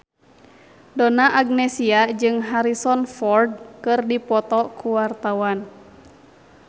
Donna Agnesia jeung Harrison Ford keur dipoto ku wartawan